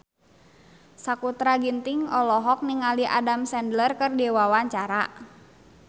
Sakutra Ginting olohok ningali Adam Sandler keur diwawancara